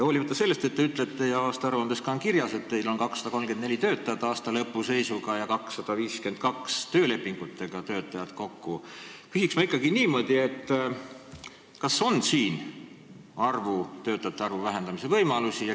Hoolimata sellest, et te ütlete – ja teie aastaaruandes on ka kirjas –, et teil on aastalõpu seisuga 234 töötajat ja 252 töölepinguga töötajat, küsiks ma ikkagi niimoodi: kas siin on töötajate arvu vähendamise võimalusi?